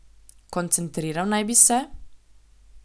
Koncentriral naj bi se?